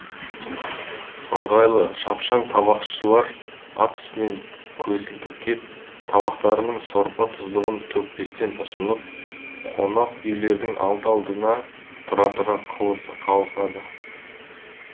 ыңғайлы шапшаң табақшылар ат үстінен көсілтіп кеп табақтарының сорпа тұздығын төкпестен ұсынып қонақ үйлердің алды алдына тұра тұра қалысады